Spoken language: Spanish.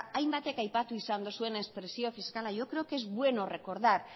hainbatek aipatu izan dozuenez presio fiskala yo creo que es bueno recordar